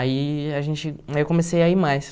Aí a gente aí eu comecei a ir mais.